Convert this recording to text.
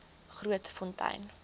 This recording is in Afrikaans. grootfontein